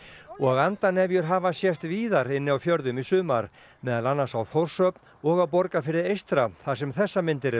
hafa sést víðar inni á fjörðum í sumar meðal annars við Þórshöfn og á Borgarfirði eystra þar sem þessar myndir eru teknar